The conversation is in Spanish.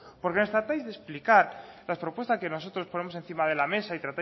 porque nos tratáis de explicar las propuestas que nosotros ponemos encima de la mesa y